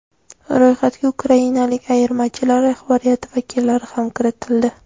Ro‘yxatga ukrainalik ayirmachilar rahbariyati vakillari ham kiritildi.